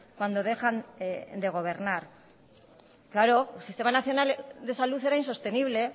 cuando dejan de gobernar claro el sistema nacional de salud era insostenible